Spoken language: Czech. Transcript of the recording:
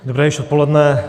Dobré již odpoledne.